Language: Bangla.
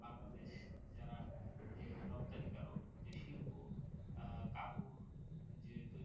বাংলাদেশ যারা যে রপ্তানিকারক যে শিল্প আহ কাপর যেহেতু